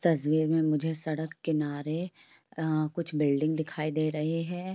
तस्वीर में मुझे सड़क किनारे अ कुछ बिल्डिंग दिखाई दे रही है।